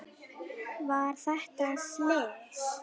Var þetta slys?